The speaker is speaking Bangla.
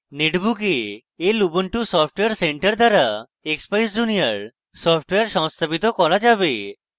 netbook এ lubuntu software center দ্বারা expeyes junior সফটওয়্যার সংস্থাপিত করা যাবে